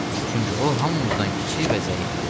Çünki o hamımızdan kiçik və zəifdir.